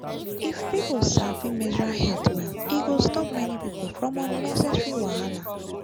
if people sabi menstrual health well e go stop many people from unnecessary wahala.